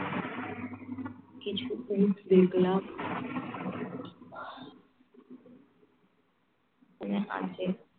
কিছু জিনিস দেখলাম দেখে